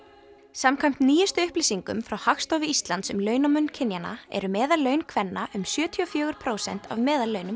samkvæmt nýjustu upplýsingum frá Hagstofu Íslands um launamun kynjanna eru meðallaun kvenna um sjötíu og fjögur prósent af meðallaunum